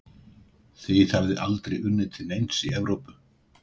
Þið hafið aldrei unnið til neins í Evrópu?